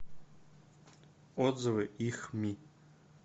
отзывы ихми